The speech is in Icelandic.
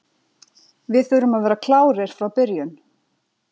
Við þurfum að vera klárir frá byrjun.